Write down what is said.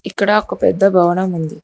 ఇక్కడ ఒక పెద్ద భవనం ఉంది.